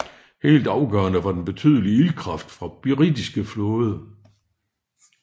Helt afgørende var den betydelige ildkraft fra britiske flåde